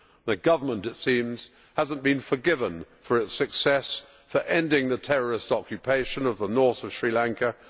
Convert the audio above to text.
The government, it seems, has not been forgiven for its success for ending the terrorist occupation of the north of Sri Lanka